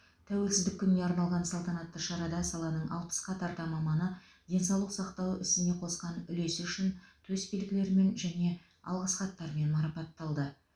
тәуелсіздік күніне арналған салтанатты шарада саланың алпысқа тарта маманы денсаулық сақтау ісіне қосқан үлесі үшін төсбелгілерімен және алғыс хаттармен марапатталды